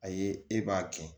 A ye e b'a kɛ